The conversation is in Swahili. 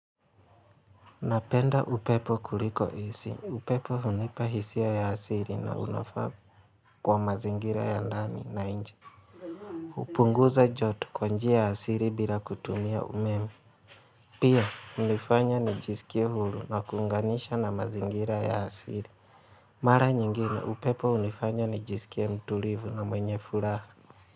Napenda upepo kuliko AC upepo hunipa hisia ya asili na unafaa kwa mazingira ya ndani na nje. Hupunguza joto kwa njia asili bila kutumia umeme. Pia, hunifanya nijisikie huru na kuunganisha na mazingira ya asili. Mara nyingine, upepo hunifanya nijisikie mtulivu na mwenye furaha.